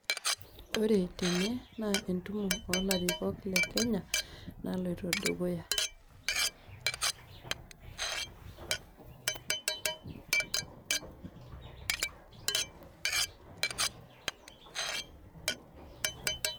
Ore tene naa entumo olarikok lekenya naloito dukuya